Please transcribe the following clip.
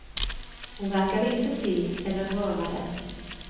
Hon verkade inte se eller höra dem.